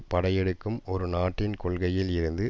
படையெடுக்கும் ஒரு நாட்டின் கொள்கையில் இருந்து